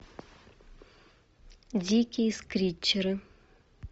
дикие скричеры